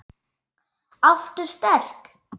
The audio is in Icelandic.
Aftur sterk.